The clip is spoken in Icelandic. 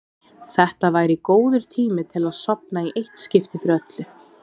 Þetta væri góður tími til að sofna í eitt skipti fyrir öll.